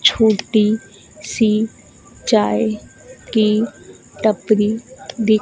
छोटी सी चाय की टपरी दि--